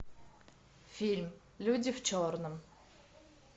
фильм люди в черном